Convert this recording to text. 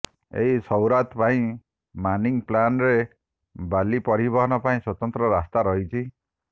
ଏହି ସୈରାତ ପାଇଁ ମାନିଂ ପ୍ଲାନ୍ ରେ ବାଲି ପରିବହନ ପାଇଁ ସ୍ବତନ୍ତ୍ର ରାସ୍ତା ରହିଛି